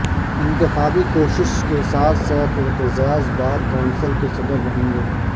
انتخابی کوشش کے ساتھ ساتھ اعتزاز بار کونسل کے صدر رہیں گے